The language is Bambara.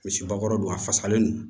Misi bakɔrɔ don a fasalen don